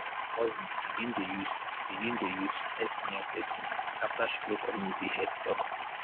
my cousin begin dey use begin dey use sti testing after she go community health talk.